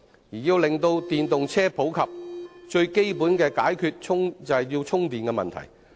要令電動車更普及，便要解決最基本的充電問題。